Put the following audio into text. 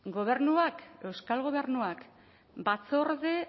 gobernuak euskal gobernuak batzorde